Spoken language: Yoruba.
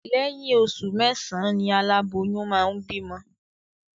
Lẹ́yìn oṣù mẹ́sàán ni aláboyún máa ń bímọ